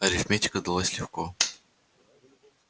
арифметика далась легко